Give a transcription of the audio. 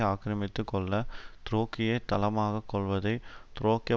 ஆக்கிரமித்து கொள்ள த்ருக்கியைத் தளமாக கொள்வதை த்ருக்கிய